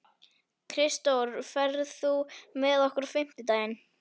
Kristdór, ferð þú með okkur á fimmtudaginn?